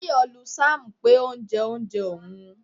Tayo lu Sam pé ó jẹ oúnjẹ òun.